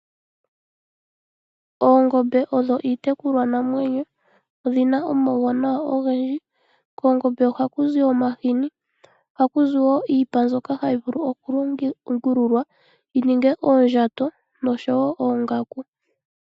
Oongombe odho iitekulwa namwenyo odhina omauwanawa ogendji koongombe ohaku zi omahini ohaku zi wo iipa mbyoka hayi vulu okulongululwa yi ninge oondjato noshowo oongaku.